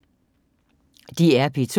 DR P2